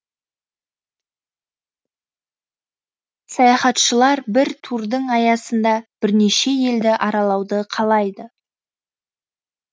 саяхатшылар бір турдың аясында бірнеше елді аралауды қалайды